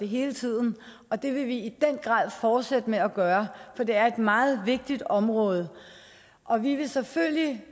hele tiden og det vil vi i den grad fortsætte med at gøre for det er et meget vigtigt område og vi vil selvfølgelig